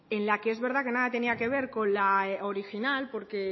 en la que es verdad que nada tenía nada que ver con la original porque